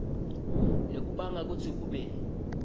lokubanga kutsi kube